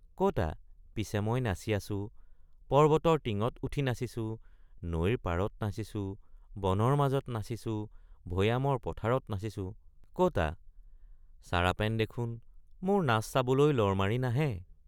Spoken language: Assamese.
কতা পিছে মই নাচি আছো পৰ্ব্বতৰ টিঙত উঠি নাচিছো নৈৰ পাৰত নাচিছো বনৰ মাজত নাচিছো ভৈয়ামৰ পথাৰত নাচিছো কতা চাৰাপেন দেখোন মোৰ নাচ চাবলৈ লৰ মাৰি নাহে।